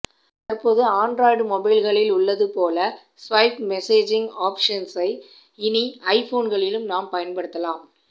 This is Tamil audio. தற்போது ஆண்ட்ராய்டு மொபைல்களில் உள்ளது போல ஸ்வைப் மெசேஜிங் ஆப்ஷன்ஸை இனி ஐ போன்களிலும் நாம் பயன்படுத்தலாம்